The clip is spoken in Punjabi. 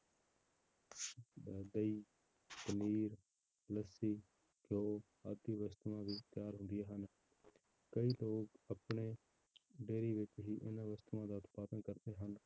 ਅਹ ਦਹੀਂ ਪਨੀਰ, ਲੱਸੀ, ਘਿਓ ਆਦਿ ਵਸਤੂਆਂ ਵੀ ਤਿਆਰ ਹੁੰਦੀਆਂ ਹਨ ਕਈ ਲੋਕ ਆਪਣੇ dairy ਵਿੱਚ ਹੀ ਇਹਨਾਂ ਵਸਤੂਆਂ ਦਾ ਉਤਪਾਦਨ ਕਰਦੇ ਹਨ,